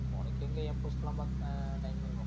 உனக்கெங்க என் post லாம் பாக்க time இருக்கும்.